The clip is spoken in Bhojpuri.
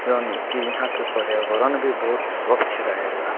यानी की यहाँ के पर्यावरण भी बहुत स्वच्छ रहेला।